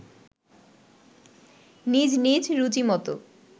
নিজ নিজ রুচিমত